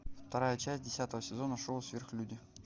вторая часть десятого сезона шоу сверхлюди